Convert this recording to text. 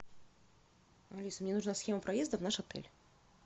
алиса мне нужна схема проезда в наш отель